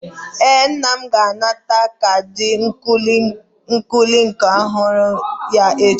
Ee, nna m ga-anata kaadị ntuliaka ọhụrụ ya echi.